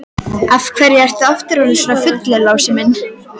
Af hverju ertu aftur orðinn svona fullur, Lási minn?